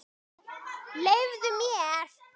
Leyfðu mér!